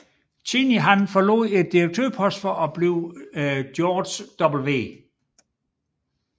Cheney forlod direktørposten for at blive George W